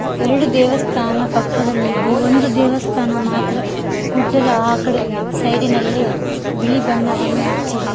ಎರಡು ದೇವಸ್ಥಾನ ಪಕ್ಕದಲ್ಲಿ ಇದೆ ಒಂದು ದೇವಸ್ಥಾನ ಮಾತ್ರ ಗುಡ್ಡದ ಆ ಕಡೆ ಸೈಡಿ ನಲ್ಲಿ ಚ್- ಬಿಳಿ ಬಣ್ಣವನ್ನು ಹಚ್ಚಿದೆ.